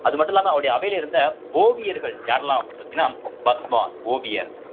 அது மட்டும் இல்லாம அவருடைய அவையில இருந்த ஓவியர்கள் யாரெல்லாம் அப்படின்னு பார்த்தீங்கன்னா பஸ்வான் ஓவியர்